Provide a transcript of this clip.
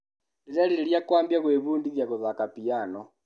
Ndĩrerirĩria kwambia gwibundithia gũthaka piano.